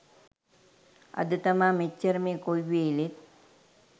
අද තමා මෙච්චර මේ කොයි වෙලේත්